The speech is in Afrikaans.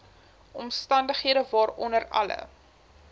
omstandighede waaronder alle